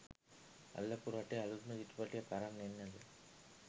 අල්ලපු රටේ අලුත්ම චිත්‍රපටියක් අරන් එන්නද?